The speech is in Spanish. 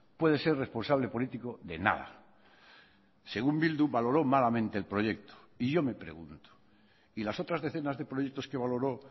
puede ser responsable político de nada según bildu valoró malamente el proyecto y yo me pregunto y las otras decenas de proyectos que valoró